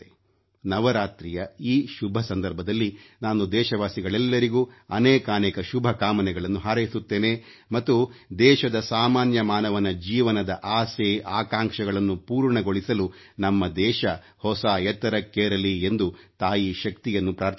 ನವರಾತ್ರಿಯ ಈ ಶುಭ ಸಂದರ್ಭದಲ್ಲಿ ನಾನು ದೇಶವಾಸಿಗಳೆಲ್ಲರಿಗೂ ಅನೇಕಾನೇಕ ಶುಭ ಕಾಮನೆಗಳನ್ನು ಹಾರೈಸುತ್ತೇನೆ ಮತ್ತು ದೇಶದ ಸಾಮಾನ್ಯ ಮಾನವನ ಜೀವನದ ಆಸೆ ಆಕಾಂಕ್ಷೆಗಳನ್ನು ಪೂರ್ಣಗೊಳಿಸಲು ನಮ್ಮ ದೇಶ ಹೊಸ ಎತ್ತರಕ್ಕೇರಲಿ ಎಂದು ತಾಯಿ ಶಕ್ತಿಯನ್ನು ಪ್ರಾರ್ಥಿಸುತ್ತೇನೆ